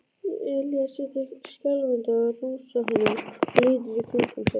Elías situr skjálfandi á rúmstokknum og lítur í kringum sig.